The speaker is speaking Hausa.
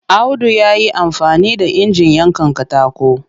Audu ya yi amfani da injin yankan katako